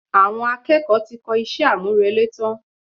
Àwọn akẹ́kọ̀ọ́ ti kọ iṣẹ́ àmúrelé tán